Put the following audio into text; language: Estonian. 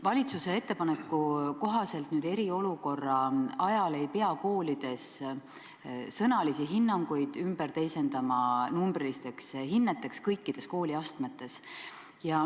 Valitsuse ettepaneku kohaselt ei pea eriolukorra ajal koolides sõnalisi hinnanguid teisendama numbrilisteks hinneteks kõikides kooliastmetes.